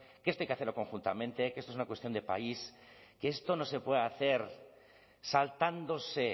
que esto hay que hacerlo conjuntamente que esto es una cuestión de país que esto no se puede hacer saltándose